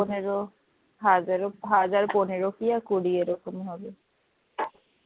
পনেরো হাজারো হাজার পনেরো কি কুড়ি এরকম হবে